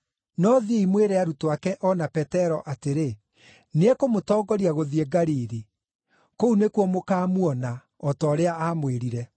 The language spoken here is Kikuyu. No thiĩi mwĩre arutwo ake o na Petero atĩrĩ, ‘Nĩekũmũtongoria gũthiĩ Galili. Kũu nĩkuo mũkaamuona, o ta ũrĩa aamwĩrire’.”